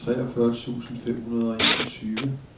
treogfyrre tusind fem hundrede og enogtyve